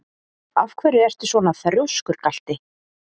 Af hverju ertu svona þrjóskur, Galti?